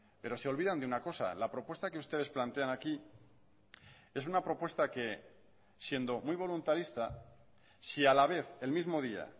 pero se olvidan de una cosa la propuesta que ustedes plantean aquí es una propuesta que siendo muy voluntarista si a la vez el mismo día